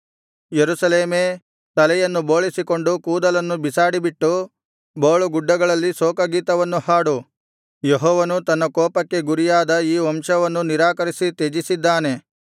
ಯೆರೂಸಲೇಮೇ ತಲೆಯನ್ನು ಬೋಳಿಸಿಕೊಂಡು ಕೂದಲನ್ನು ಬಿಸಾಡಿಬಿಟ್ಟು ಬೋಳುಗುಡ್ಡಗಳಲ್ಲಿ ಶೋಕಗೀತವನ್ನು ಹಾಡು ಯೆಹೋವನು ತನ್ನ ಕೋಪಕ್ಕೆ ಗುರಿಯಾದ ಈ ವಂಶವನ್ನು ನಿರಾಕರಿಸಿ ತ್ಯಜಿಸಿದ್ದಾನೆ